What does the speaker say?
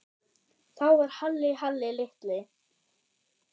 Þá var Halli Halli litli.